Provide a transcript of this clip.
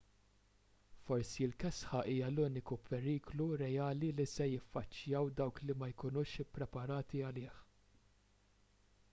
forsi l-kesħa hija l-uniku periklu reali li se jiffaċċjaw dawk li ma jkunux ippreparati għalih